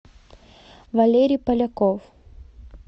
валерий поляков